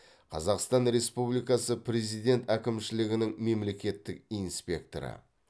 қазақстан республикасы президент әкімшілігінің мемлекеттік инспекторы